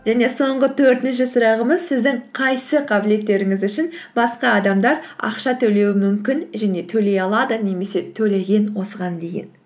және соңғы төртінші сұрағымыз сіздің қайсы қабілеттеріңіз үшін басқа адамдар ақша төлеуі мүмкін және төлей алады немесе төлеген осыған дейін